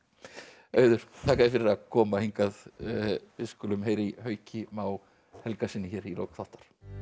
auður þakka þér fyrir að koma hingað við skulum heyra í Hauki Má Helgasyni hér í lok þáttar